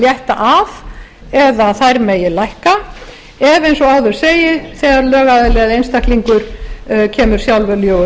létta af eða þær megi lækka ef eins og áður segir þegar lögaðili eða einstaklingur kemur sjálfviljugur